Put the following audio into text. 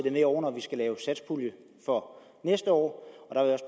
ind over når vi skal lave satspuljen for næste år